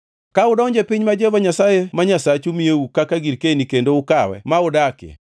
Ka udonjo e piny ma Jehova Nyasaye ma Nyasachu miyou kaka girkeni kendo ukawe ma udakie,